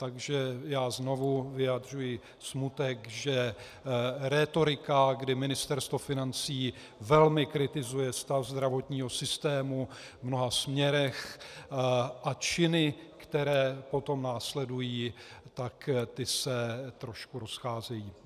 Takže já znovu vyjadřuji smutek, že rétorika, kdy Ministerstvo financí velmi kritizuje stav zdravotního systému v mnoha směrech, a činy, které potom následují, tak ty se trošku rozcházejí.